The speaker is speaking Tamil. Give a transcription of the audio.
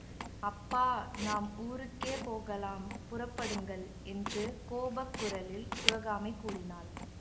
அப்பா நாம் ஊருக்கே போகலாம் புறப்படுங்கள் என்று கோபக் குரலில் சிவகாமி கூறினாள்